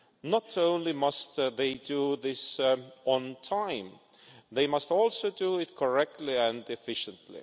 Not only must they do this on time, they must also do it correctly and efficiently.